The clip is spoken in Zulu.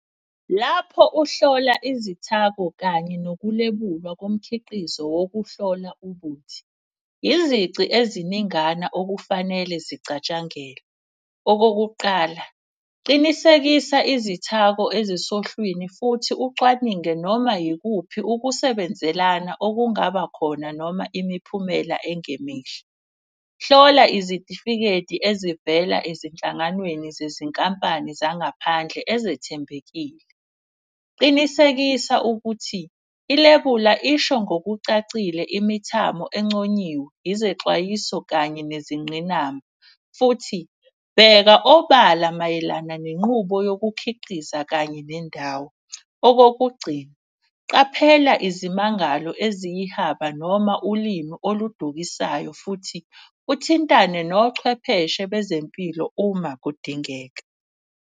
Lapho uhlola izithako kanye nokulebulwa komkhiqizo wokuhlola ubuthi. Izici eziningana okufanele zicatshangelwe. Okokuqala, qinisekisa izithako ezisohlwini futhi ucwaninge noma yikuphi ukusebenzelana okungaba khona noma imiphumela engemihle. Hlola izitifiketi ezivela ezinhlanganweni zezinkampani zangaphandle ezethembekile. Qinisekisa ukuthi ilebula isho ngokucacile imithamo enconyiwe, izexwayiso kanye nezinqinamba. Futhi bheka obala mayelana nenqubo yokukhiqiza kanye nendawo. Okokugcina, qaphela izimangalo eziyihaba noma ulimu oludukisayo futhi uthintane nochwepheshe bezempilo uma kudingeka.